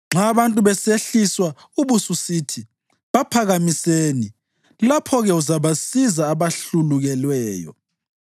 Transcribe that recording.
Nxa abantu besehliswa ubususithi, ‘Baphakamiseni!’ lapho-ke uzabasiza abahlulukelweyo.